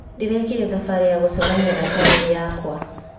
Ndĩrekire thabarĩ ya gũcemania na bamĩrĩ yakwa.